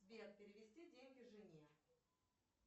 сбер перевести деньги жене